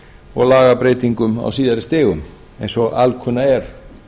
og lagabreytingum á síðari stigum eins og alkunna er